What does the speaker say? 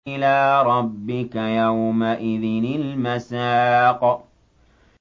إِلَىٰ رَبِّكَ يَوْمَئِذٍ الْمَسَاقُ